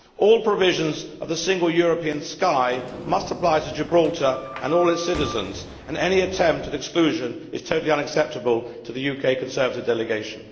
All provisions of the Single European Sky must apply to Gibraltar and all its citizens, and any attempt at exclusion is totally unacceptable to the UK Conservative delegation.